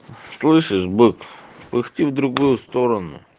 слышишь бык пыхти в другую сторону